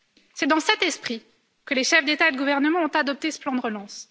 C'est dans cet esprit que les chefs d'État et de gouvernement ont adopté ce plan de relance.